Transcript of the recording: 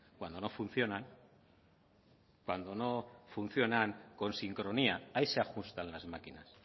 cuando no funcionan cuando no funcionan con sincronía ahí se ajustan las máquinas